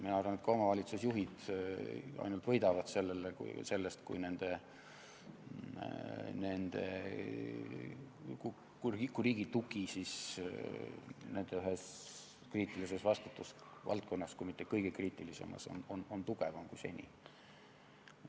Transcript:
Mina arvan, et ka omavalitsusjuhid ainult võidavad sellest, kui riigi tugi nende ühes kriitilises vastutusvaldkonnas on tugevam kui seni.